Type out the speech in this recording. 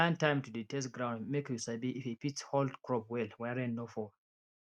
plan time to dey test ground make you sabi if e fit hold crop well when rain no fall